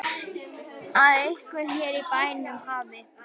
Að einhver hér í bænum hafi.